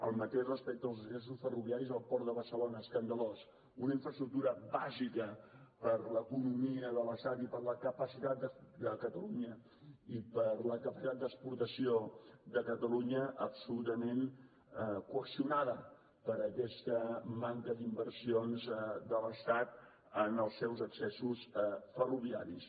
el mateix respecte als accessos ferroviaris al port de barcelona escandalós una infraestructura bàsica per a l’economia de l’estat i per a la capacitat d’exportació de catalunya absolutament coaccionada per aquesta manca d’inversions de l’estat en els seus accessos ferroviaris